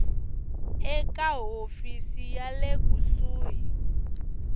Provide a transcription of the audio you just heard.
eka hofisi ya le kusuhi